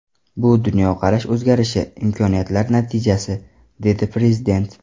Bu dunyoqarash o‘zgarishi, imkoniyatlar natijasi”, dedi Prezident.